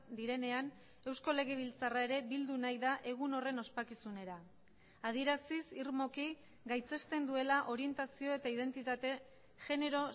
direnean eusko legebiltzarra ere bildu nahi da egun horren ospakizunera adieraziz irmoki gaitzesten duela orientazio eta identitate genero